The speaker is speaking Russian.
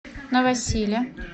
новосиле